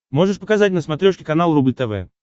можешь показать на смотрешке канал рубль тв